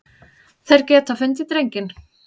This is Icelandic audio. Þeir geta fundið drenginn.